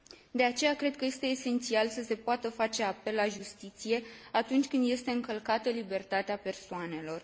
De aceea, cred că este esențial să se poată face apel la justiție atunci când este încălcată libertatea persoanelor.